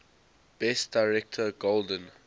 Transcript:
best director golden